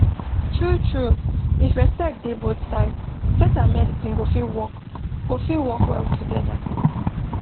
truetrue if respect dey both sides faith and medicine go fit work go fit work well together